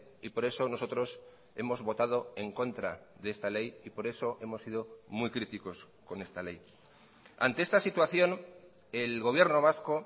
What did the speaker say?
y por eso nosotros hemos votado en contra de esta ley y por eso hemos sido muy críticos con esta ley ante esta situación el gobierno vasco